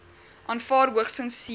aanvaar hoogstens sewe